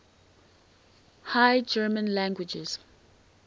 high german languages